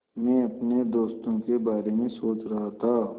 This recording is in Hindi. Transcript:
मैं अपने दोस्तों के बारे में सोच रहा था